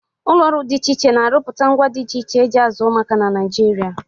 Ụlọ ọrụ dị iche iche na-arụpụta ngwá dị iche iche e ji azụ ụmụaka na Naịjirịa.